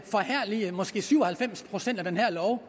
at måske syv og halvfems procent i den her lov